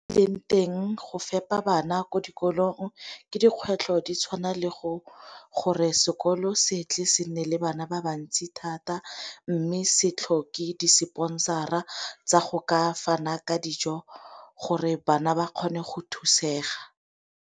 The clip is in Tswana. E leng teng go fepa bana ko dikolong ke dikgwetlho di tshwana le gore sekolo se tle se nne le bana ba bantsi thata mme setlhogo ke di-sponsor-a tsa go ka fana ka dijo gore bana ba kgone go thusega.